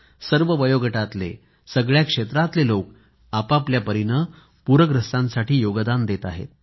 सर्व वयोगटातले आणि सगळ्या क्षेत्रातले लोक आपआपल्या परीनं पूरग्रस्तांसाठी योगदान देत आहेत